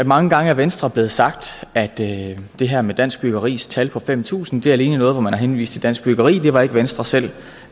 mange gange af venstre blevet sagt at det her med dansk byggeris tal på fem tusind alene er noget hvor man har henvist til dansk byggeri det var ikke venstre selv